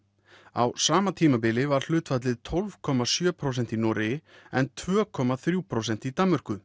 á sama tímabili var hlutfallið tólf komma sjö prósent í Noregi en tvö komma þrjú prósent í Danmörku